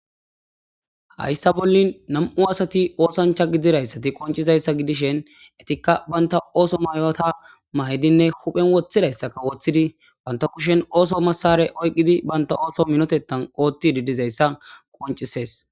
hayssa bollin nam7u asati oosancha gidirayssati qoncizayssa gidishen etikka baynta ooso mayta mahidinne huphen woththidayssaka woththidi banta kushen ooso masare oyqqidi banta ooso minotetan ootti didizayssa qoncisees